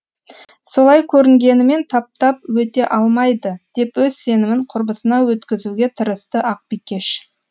солай көрінгенімен таптап өте алмайды деп өз сенімін құрбысына өткізуге тырысты ақбикеш